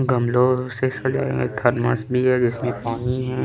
गमलों से सजाया एक थर्मस भी है जिसमें पानी है।